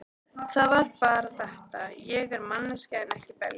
Það var bara þetta: Ég er manneskja en ekki belja.